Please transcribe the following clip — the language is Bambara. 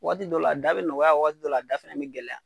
Waati dɔ la a da bɛ nɔgɔya waati dɔ la a da fɛnɛ bi gɛlɛya.